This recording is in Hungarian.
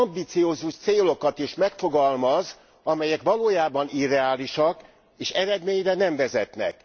ambiciózus célokat is megfogalmaz, amelyek valójában irreálisak, és eredményre nem vezetnek.